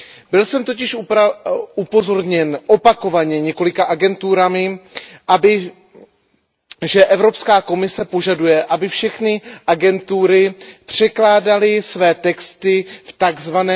Byl jsem totiž upozorněn, opakovaně několika agenturami, že Evropská komise požaduje, aby všechny agentury překládaly své texty v tzv.